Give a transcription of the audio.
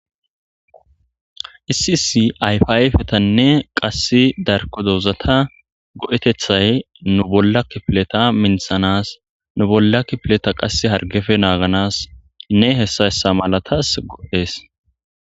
isi isi ayfiyfetanne qass darko dozata go7etethay nu bollakipileta minthanas nu bolla kipileta qasse hargefe naaganas nne hessa hessa malatas gohees